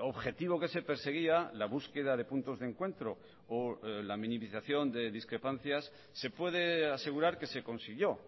objetivo que se perseguía la búsqueda de puntos de encuentro o la minimización de discrepancias se puede asegurar que se consiguió